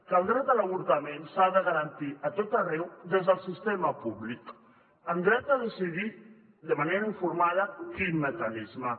que el dret a l’avortament s’ha de garantir a tot arreu des del sistema públic amb dret a decidir de manera informada quin mecanisme